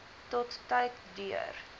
tot tyd deur